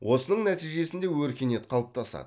осының нәтижесінде өркениет қалыптасады